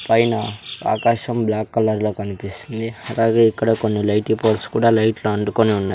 పైన ఆకాశం black colour లో కనిపిస్తుంది అలాగే ఇక్కడ కొన్ని లైటీ పోల్స్ కూడా లైట్లు అంటుకొని ఉన్నాయ్.